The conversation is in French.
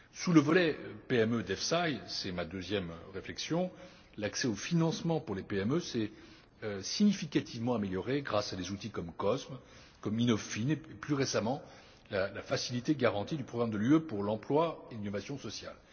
Sous le volet PME de l'EFSI c'est ma deuxième réflexion l'accès au financement pour les PME s'est significativement amélioré grâce à des outils comme COSME, comme InnovFin, et, plus récemment, la facilité de garantie du programme de l'UE pour l'emploi et l'innovation sociale.